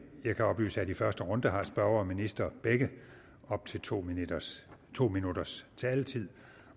jeg kan oplyse at i første runde har spørger og minister begge op til to minutters to minutters taletid